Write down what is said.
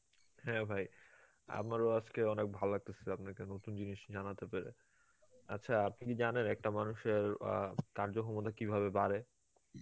হ্যাঁ ভাই, আমারও আজকে অনেক ভাল লাগতাসে আপনাকে নতুন জিনিস জানাতে পেরে আচ্ছা, আপনি কী জানেন একটা মানুষের অ্যাঁ কার্য্য ক্ষমতা কীভাবে বাড়ে?